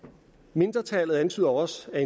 mindretallet antyder også at